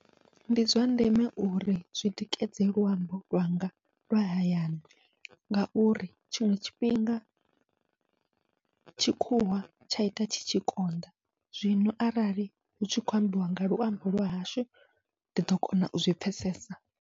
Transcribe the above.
Ndi zwa ndeme uri zwi tikedze luambo lwanga lwa hayani, ngauri tshiṅwe tshifhinga tshikhuwa tsha ita tshi tshi konḓa zwino arali hutshi khou ambiwa nga luambo lwa hashu ndi ḓo kona uzwi pfhesesa.